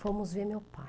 Fomos ver meu pai.